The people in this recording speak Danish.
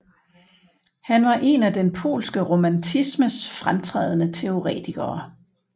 Han var en af den polske romantismes fremtrædende teoretikere